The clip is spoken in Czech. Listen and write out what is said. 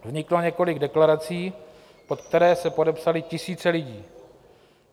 Vzniklo několik deklarací, pod které se podepsaly tisíce lidí.